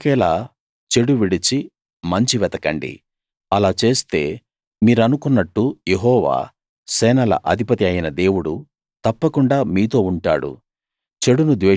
మీరు బతికేలా చెడు విడిచి మంచి వెతకండి అలా చేస్తే మీరనుకున్నట్టు యెహోవా సేనల అధిపతి అయిన దేవుడు తప్పకుండా మీతో ఉంటాడు